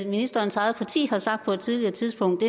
ministerens eget parti på et tidligere tidspunkt